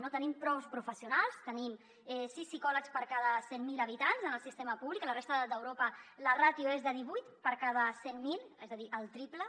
no tenim prou professionals tenim sis psicòlegs per cada cent mil habitants en el sistema públic a la resta d’europa la ràtio és de divuit per cada cent mil és a dir el triple